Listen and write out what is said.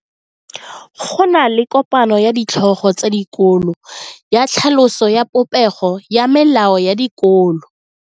Go na le kopano ya ditlhogo tsa dikolo ya tlhaloso ya popego ya melao ya dikolo.